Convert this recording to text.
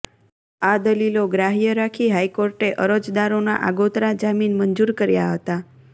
આ દલીલો ગ્રાહ્ય રાખી હાઇકોર્ટે અરજદારોના આગોતરા જામીન મંજૂર કર્યા હતા